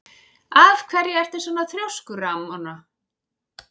Af hverju ertu svona þrjóskur, Ramóna?